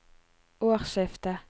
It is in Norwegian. årsskiftet